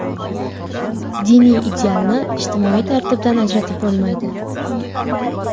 Diniy idealni ijtimoiy tartibdan ajratib bo‘lmaydi.